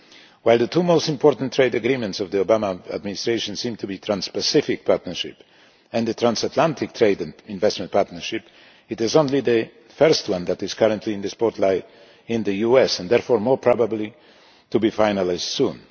While the two most important trade agreements of the Obama administration seem to be the Trans Pacific Partnership and the Transatlantic Trade and Investment Partnership it is only the first one that is currently in the spotlight in the US and therefore more likely to be finalised soon.